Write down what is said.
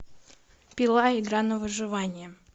пила игра на выживание